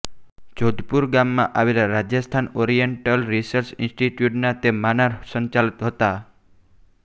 જોધપુરમાં આવેલા Rajasthan oriental research ઇન્સ્ટિટ્યૂટના તે માનાર્હ સંચાલક હતા